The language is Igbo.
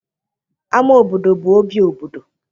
Ámá obodo bụ obi obodo.